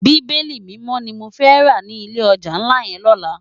Bibéli Mimò ni mó fè rá ni ilé òjá nlá yèn lòlá